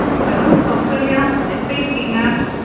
Hello Kausalya எப்டி இருக்கீங்க?